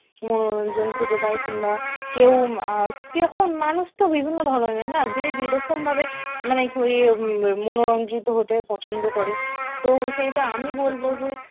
মনোরঞ্জন খুঁজে পায় কিংবা কেউ অ্যাঁ যেরকম মানুষ তো বিভিন্ন ধরনের না যে যেরকম ভাবে মান~ মনোরঞ্জিত হতে পছন্দ করে তো সেইটা আমি বলব যে